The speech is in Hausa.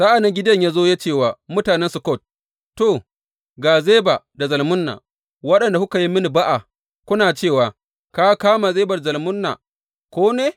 Sa’an nan Gideyon ya zo ya ce wa mutanen Sukkot, To, ga Zeba da Zalmunna, waɗanda kuka yi mini ba’a kuna cewa, Ka kama Zeba da Zalmunna ko ne?